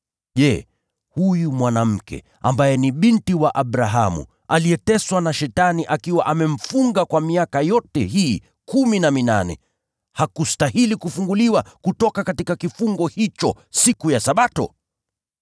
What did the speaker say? Je, huyu mwanamke, ambaye ni binti wa Abrahamu, aliyeteswa na Shetani akiwa amemfunga kwa miaka yote hii kumi na minane, hakustahili kufunguliwa kutoka kifungo hicho siku ya Sabato?”